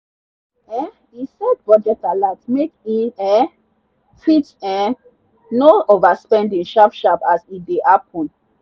um e set budget alert make e um fit um know overspending sharp sharp as e dey happen.